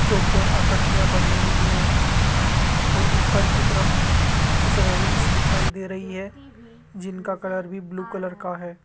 चौकोर आकृतियां बनी हुई है और ऊपर की तरफ कुछ रैलिंग्स दिखाई दे रही है जिनका कलर भी ब्लू कलर का है।